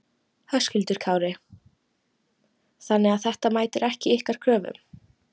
Höskuldur Kári: Þannig að þetta mætir ekki ykkar kröfum?